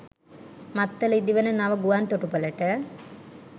මත්තල ඉදිවන නව ගුවන් තොටුපලට